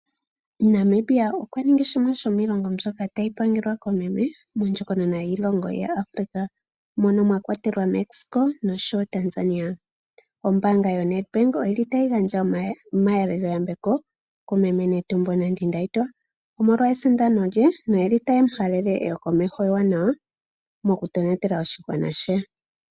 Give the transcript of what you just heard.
Namibia okwa ningi shimwe shomiilongo mbyoka tayi pangelwa komukulukadhi mondjokonona yiilongo ya Africa, moka mwakwatelwa Mexico noshowo Tanzania. Ombaanga yo-Nedbank otayi gandja omahalelo-yambeko kumeme Netumbo Nandi-Ndaitwah omolwo esindano lye, notayemu halele eyo komeho ewanawa mokutonatela oshigwana she.